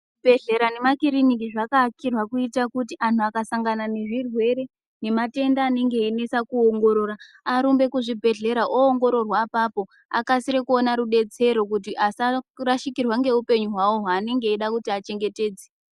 Zvibhedhlera nemakiriniki zvakakirwe kuti antu akasangana nezvirwere nematenda anenge einese kuongorora arumbe kuzvibhedhlera oongororwa apapo akasire kuona rubetsero kuti asarasikirwa ngeupenyu hwavo hwanenge veifanire kuchengetedza.